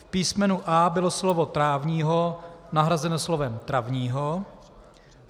V písmenu a) bylo slovo "trávního" nahrazeno slovem "travního".